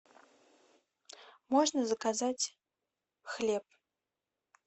можно заказать хлеб